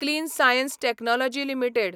clean science technology limited